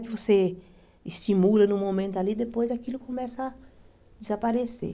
Que você estimula num momento ali e depois aquilo começa a desaparecer.